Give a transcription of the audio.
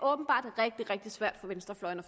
åbenbart rigtig rigtig svært for venstrefløjen